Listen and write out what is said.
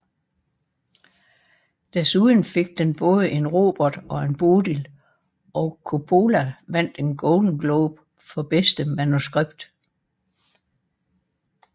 Desuden fik den både en Robert og en Bodil og Coppola vandt en Golden Globe for bedste manuskript